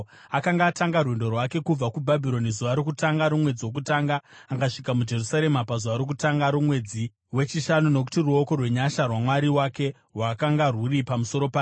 Akanga atanga rwendo rwake kubva kuBhabhironi zuva rokutanga romwedzi wokutanga akasvika muJerusarema pazuva rokutanga romwedzi wechishanu, nokuti ruoko rwenyasha rwaMwari wake rwakanga rwuri pamusoro pake.